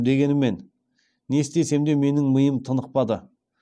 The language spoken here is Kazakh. дегенімен не істесем де менің миым тынықпады